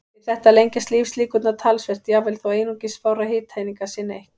Við þetta lengjast lífslíkurnar talsvert, jafnvel þó einungis fárra hitaeininga sé neytt.